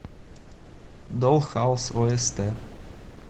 долл хаус ост